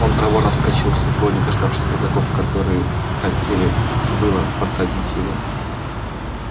он проворно вскочил в седло не дождавшись казаков которые хотели было подсадить его